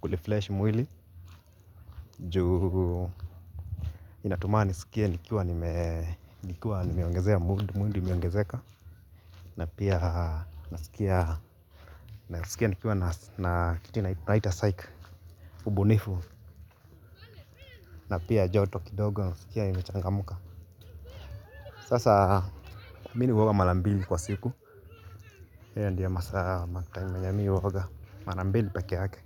kurefresh mwili. Juu inatumaa nisikie nikiwa nimeongezea mood mood imeongezeka. Na pia nasikia nikiwa na kitu inatunaita saik. Ubu nifu na pia joto ki dogo nasikia nimechanga mka. Sasa mimi huoga marambili kwa siku. Hiyo ndiyo masa matime yenye mi huoga marambili pekeeyake.